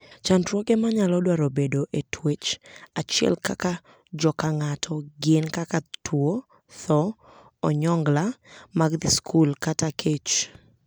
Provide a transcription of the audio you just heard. Chandruoge manyalo dwaro bedo e twech achiel kaka jo kang'ato gin kaka tuo, thoo, onyongla mag dhi skul, kata kech.